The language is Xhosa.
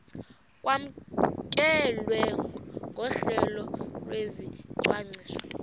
kwamkelwe nohlelo lwesicwangciso